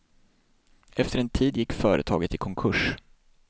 Efter en tid gick företaget i konkurs.